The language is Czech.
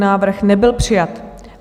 Návrh nebyl přijat.